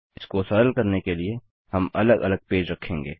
इसको सरल करने के लिए हम अलग अलग पेज रखेंगे